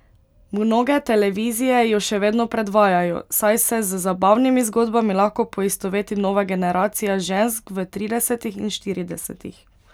Mnoge televizije jo še vedno predvajajo, saj se z zabavnimi zgodbami lahko poistoveti nova generacija žensk v tridesetih in štiridesetih.